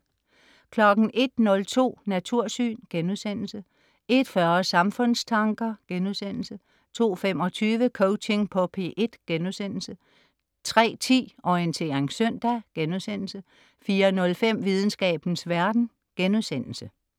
01.02 Natursyn* 01.40 Samfundstanker* 02.25 Coaching på P1* 03.10 Orientering søndag* 04.05 Videnskabens verden*